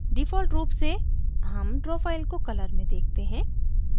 default रूप से हम draw file को colour में देखते हैं